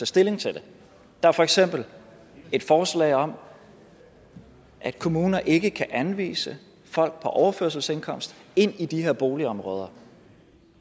stilling til det der er for eksempel et forslag om at kommuner ikke kan anvise folk på overførselsindkomst ind i de her boligområder